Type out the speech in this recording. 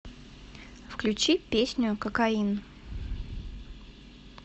включи песню кокаин